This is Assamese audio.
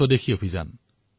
সম্পূৰ্ণ স্বদেশী অভিযান